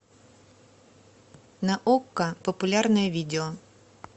на окко популярное видео